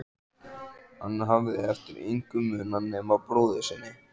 Hann hafði eftir engu munað nema brúði sinni.